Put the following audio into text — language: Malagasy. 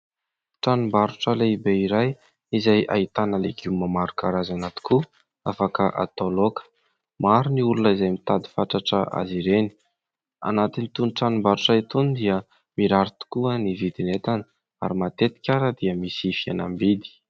Tranom-barotra lehibe iray izay ahitana legioma maro karazana tokoa, afaka atao laoka, maro ny olona izay mitady fatratra azy ireny, anatin'itony tranom-barotra itony dia mirary tokoa ny vidin'entana ary matetika aza dia misy fihenam-bidy.